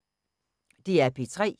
DR P3